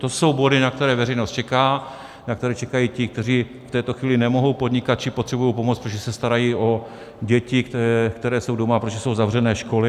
To jsou body, na které veřejnost čeká, na které čekají ti, kteří v této chvíli nemohou podnikat či potřebují pomoc, protože se starají o děti, které jsou doma, protože jsou zavřené školy.